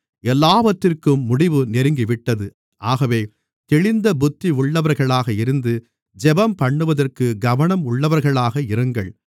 எல்லாவற்றிற்கும் முடிவு நெருங்கிவிட்டது ஆகவே தெளிந்த புத்தி உள்ளவர்களாக இருந்து ஜெபம்பண்ணுவதற்கு கவனம் உள்ளவர்களாக இருங்கள்